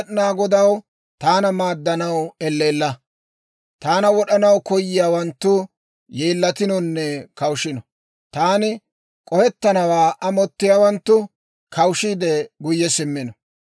Taana wod'anaw koyiyaawanttu yeellatinonne kawushino. Taani k'ohettannawaa amottiyaawanttu, kawushiide guyye simmino.